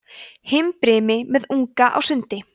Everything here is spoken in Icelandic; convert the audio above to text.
himbrimi með unga á sundi